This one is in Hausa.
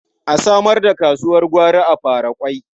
A samar da kasuwar gwari a Faraƙwai.